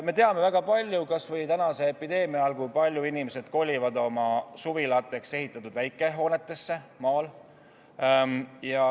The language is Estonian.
Me teame, kui paljud inimesed kolivad kas või tänase epideemia ajal maale oma suvilateks ehitatud väikehoonetesse.